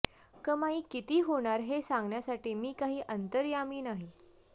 कमाई किती होणार हे सांगण्यासाठी मी काही अंतर्यामी नाही